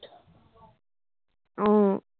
আহ